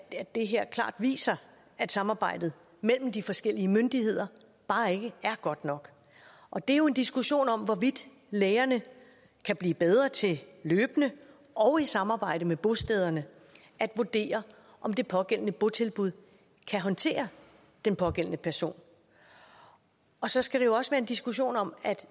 det her klart viser at samarbejdet mellem de forskellige myndigheder bare ikke er godt nok og det er jo en diskussion om hvorvidt lægerne kan blive bedre til løbende og i samarbejde med bostederne at vurdere om det pågældende botilbud kan håndtere den pågældende person og så skal det jo også være en diskussion om at